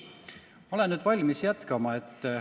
Ma olen nüüd valmis jätkama.